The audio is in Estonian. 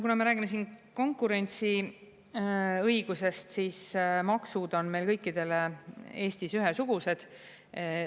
Kuna me räägime siin konkurentsiõigusest, siis maksud on meil kõikidele Eestis ühesugused.